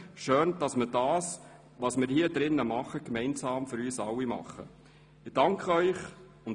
Schön, dass wir das, was wir hier drin tun, gemeinsam für uns alle tun.